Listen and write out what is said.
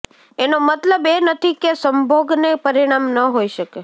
એનો મતલબ એ નથી કે સંભોગને પરિણામ ન હોઈ શકે